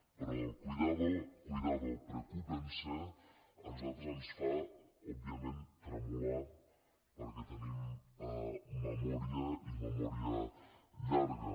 però el cuidado cuidado preocúpense a nosaltres ens fa òbviament tremolar perquè tenim memòria i memòria llarga